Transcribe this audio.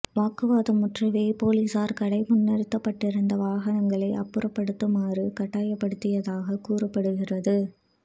வாக்குவாதம் முற்றவே போலீஸார் கடை முன்பு நிறுத்தப்பட்டிருந்த வாகனங்களை அப்புறப்படுத்துமாறு கட்டாயப்படுத்தியதாக கூறப்படுகிறது